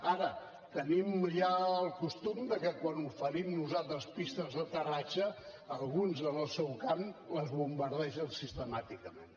ara tenim ja el costum de que quan oferim nosaltres pistes d’aterratge alguns en el seu camp les bombardegen sistemàticament